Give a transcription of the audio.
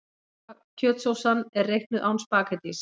Kjötsósan er reiknuð án spaghettís.